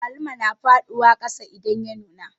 Agwaluma na faɗiwa kasa idan ya nuna